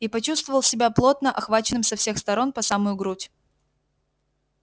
и почувствовал себя плотно охваченным со всех сторон по самую грудь